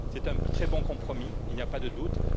C'est un très bon compromis, il n'y a pas de doute.